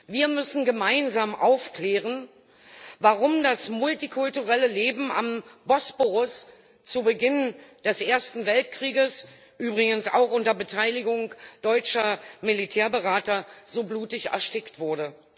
Wir müssen gemeinsam aufklären, warum das multikulturelle Leben am Bosporus zu Beginn des Ersten Weltkrieges übrigens auch unter Beteiligung deutscher Militärberater so blutig erstickt wurde.